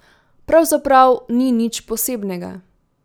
Pravzaprav ni nič posebnega.